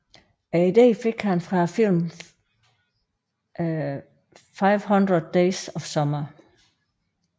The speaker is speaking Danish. Ideen fik han fra filmen 500 Days Of Summer